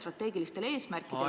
Aeg!